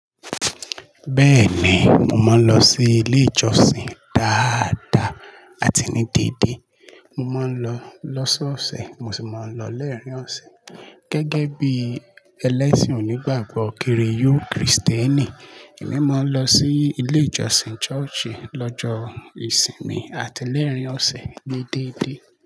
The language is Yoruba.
Bẹ́ẹ̀ni, mo máa ń lọ sí ilé ìjọsìn dáadáa àti ní dédé. Mo máa ń lọ lọ́sọ́ọ̀sẹ̀ mo sì máa ń lọ laarín ọ̀sẹ̀ gẹ́gẹ́ bí ẹlẹ́sìn onígbàgbọ́ kiriyo Krìstẹ́nì. Èmi máa ń lọ sí ilé ìjọsìn church lọ́jọ́ ìsinmi àti lẹ́ẹ̀rín ọ̀sẹ̀ déédéé.